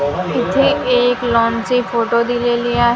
इथे एक लॉन चे फोटो दिलेले आ--